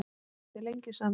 Voruð þið lengi saman?